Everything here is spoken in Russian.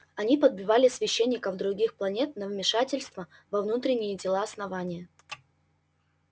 они подбивали священников других планет на вмешательство во внутренние дела основания